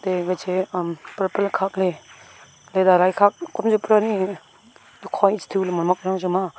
ega chai am purple khak ley derairai khak kom jao pura nyi tukhoi cha tu mamak jojo ma.